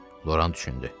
Loran düşündü.